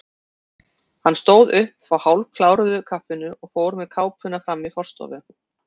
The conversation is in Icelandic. Hann stóð upp frá hálfkláruðu kaffinu og fór með kápuna fram í forstofu.